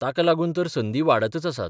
ताका लागून तर संदी वाढतच आसात.